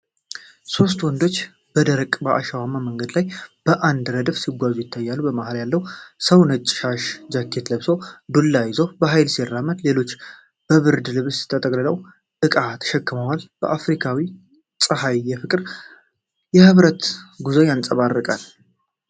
ሦስት ወንዶች በደረቅና አሸዋማ መንገድ ላይ በአንድ ረድፍ ሲጓዙ ይታያሉ። መሃል ያለው ሰው ነጭ ሻሽና ጃኬት ለብሶ፣ ዱላ ይዞ በኃይል ሲራመድ፣ ሌሎቹ በብርድ ልብስ ተጠቅልለው ዕቃ ተሸክመዋል። በአፍሪካዊው ፀሐይ የፍቅርና የኅብረት ጉዞ ያንጸባርቃል።